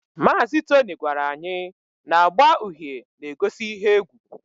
Mazị Tony gwara anyị na agba uhie na-egosi ihe egwu